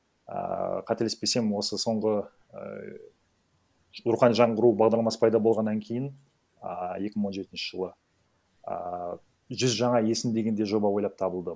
ааа қателеспесем осы соңғы ііі рухани жаңғыру бағдарламасы пайда болғаннан кейін ааа екі мың он жетінші жылы ааа жүз жаңа есім деген де жоба ойлап табылды